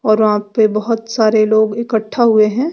और वहां पे बहोत सारे लोग इकट्ठा हुए हैं।